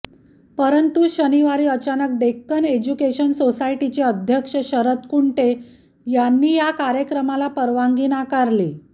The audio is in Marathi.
परंतु शनिवारी अचानक डेक्कन एज्युकेशन साेसायटीचे अध्यक्ष शरद कुंटे यांनी या कार्यक्रमाला परवानगी नाकारली